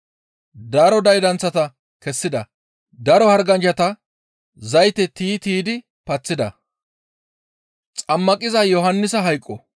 Daro daydanththata kessida; daro harganchchata zayte tiyi tiydi paththida.